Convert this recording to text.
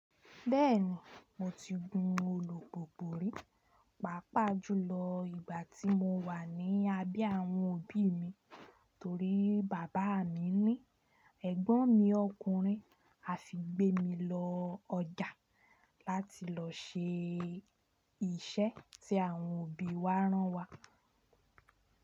Bẹ́ẹ̀ni, mo ti gun olùgbògbò rí, pàápàá jùlọ ìgbà tí mo wà ní abẹ́ àwọn òbí mi, torí bàbá mi ní ẹ̀gbọ́n mi ọkùnrin a fi gbé mi lọ ọjà láti lọ ṣe iṣẹ́ tí àwọn òbí wa rán wa.